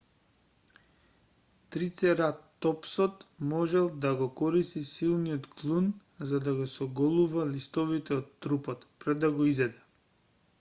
трицератопсот можел да го користи силниот клун за да ги соголува листовите од трупот пред да го изеде